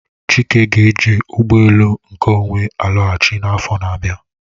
Chike ga-eji ụgbọ elu nke onwe alọghachi n'afọ n'abia.